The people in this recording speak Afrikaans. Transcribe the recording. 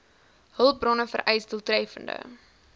hulpbronne vereis doeltreffende